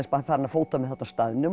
farin að fóta mig þarna á staðnum